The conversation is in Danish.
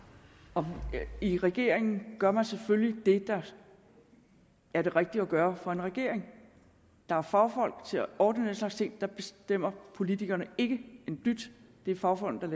og i regeringen gør man selvfølgelig det der er det rigtige at gøre for en regering der er fagfolk til at ordne den slags ting der bestemmer politikerne ikke en dyt det er fagfolkene